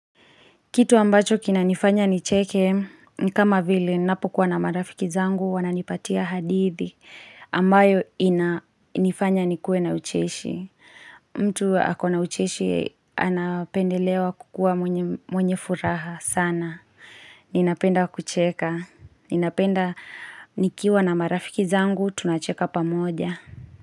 Kitu ambacho kinanifanya nicheke, ni kama vile nanapokuwa na marafiki zangu, wananipatia hadithi ambayo inifanya nikuwe na ucheshi. Mtu ako na ucheshi, anapendelewa kukuwa mwenye furaha sana. Ninapenda kucheka. Ninapenda nikiwa na marafiki zangu, tunacheka pamoja.